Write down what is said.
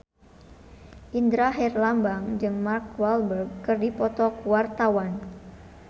Indra Herlambang jeung Mark Walberg keur dipoto ku wartawan